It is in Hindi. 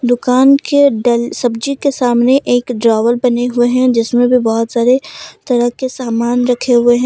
दुकान के डेल सब्जी के सामने एक ड्रावर बने हुए हैं जिसमें भी बहुत सारे तरह के सामान रखे हुए हैं।